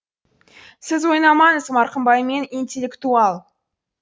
сіз ойнамаңыз мырқымбаймен интел л лектуал